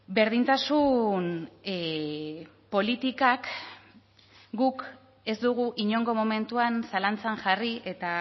berdintasun politikak guk ez dugu inongo momentuan zalantzan jarri eta